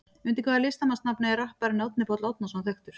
Undir hvaða listamannsnafni er rapparinn Árni Páll Árnason þekktur?